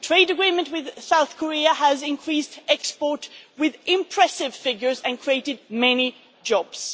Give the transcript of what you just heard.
The trade agreement with South Korea has increased exports by impressive figures and created many jobs.